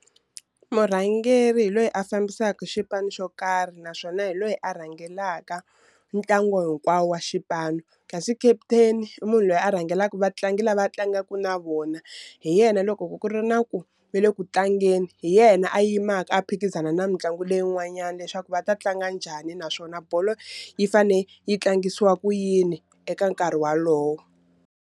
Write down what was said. Murhangeri hi loyi a fambisaka xipano xo karhi naswona hi loyi a rhangelaka ntlangu hinkwawo wa xipano, kasi captain i munhu loyi a rhangelaka vatlangi lava a tlangaku na vona, hi yena loko ku ku ri na ku va le ku tlangeni hi yena a yimaka a phikizana na mitlangu leyi n'wanyana leswaku va ta tlanga njhani naswona bolo yi fane yi tlangisiwa ku yini eka nkarhi walowo.